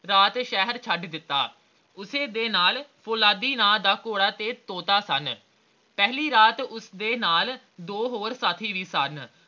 ਰਾਤ ਸ਼ਹਿਰ ਛੱਡ ਦਿੱਤਾ ਉਸੇ ਦੇ ਨਾਲ ਪੋਲਾਦੀ ਨਾ ਦਾ ਘੋੜਾ ਤੇ ਤੋਤਾ ਸਨ ਪਹਿਲੀ ਰਾਤ ਉਸਦੇ ਨਾਲ ਦੋ ਹੋਰ ਸਾਥੀ ਵੀ ਸਨ